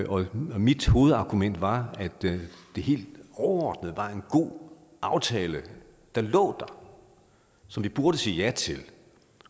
og mit hovedargument var at det helt overordnet set var en god aftale der lå der som vi burde sige ja til